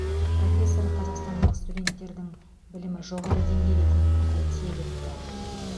профессор қазақстандық студенттердің білімі жоғары деңгейде екенін тілге тиек етті